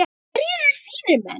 Hverjir eru þínir menn?